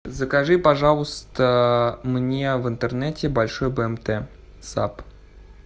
закажи пожалуйста мне в интернете большой бмт саб